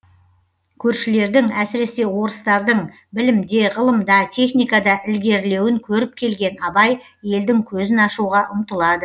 көршілердің әсіресе орыстардың білімде ғылымда техникада ілгерілеуін көріп келген абай елдің көзін ашуға ұмтылады